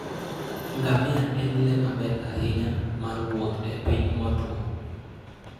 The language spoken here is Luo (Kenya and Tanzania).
Ngamia en le maber ahinya mar wuoth e piny motwo.